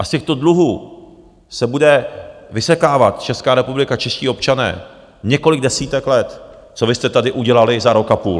A z těchto dluhů se bude vysekávat Česká republika, čeští občané několik desítek let, co vy jste tady udělali za rok a půl.